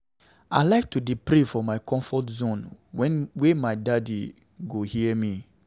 I like to dey pray for my comfort zone, were my daddy go hear me.